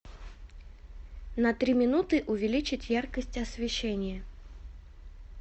на три минуты увеличить яркость освещения